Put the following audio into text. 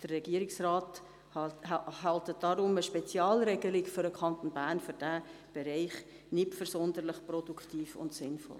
Der Regierungsrat hält deshalb eine Spezialregelung für den Kanton Bern für diesen Bereich nicht für produktiv und sinnvoll.